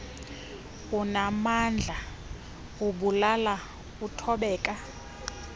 unaamandla ubulala uthobeka